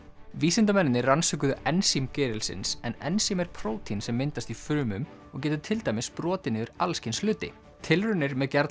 vísindamennirnir rannsökuðu ensím gerilsins en ensím er prótín sem myndast í frumum og getur til dæmis brotið niður allskyns hluti tilraunir með